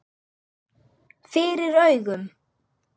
FYRIR AUGUM.